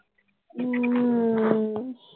ਹਮ